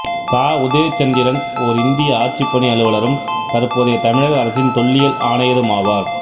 த உதயசந்திரன் ஓர் இந்திய ஆட்சிப்பணி அலுவலரும் தற்போதைய தமிழக அரசின் தொல்லியல் ஆணையரும் ஆவார்